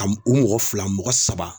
A u mɔgɔ fila mɔgɔ saba